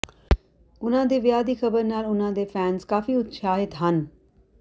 ਉਨ੍ਹਾਂ ਦੇ ਵਿਆਹ ਦੀ ਖ਼ਬਰ ਨਾਲ ਉਨ੍ਹਾਂ ਦੇ ਫੈਨਜ਼ ਕਾਫੀ ਉਤਸ਼ਾਹਿਤ ਹਨ